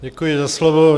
Děkuji za slovo.